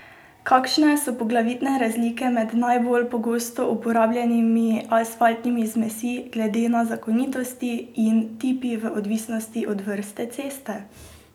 Kakšne so poglavitne razlike med najbolj pogosto uporabljenimi asfaltnimi zmesmi glede na zakonitosti in tip v odvisnosti od vrste ceste?